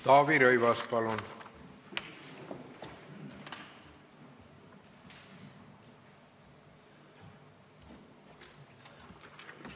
Taavi Rõivas, palun!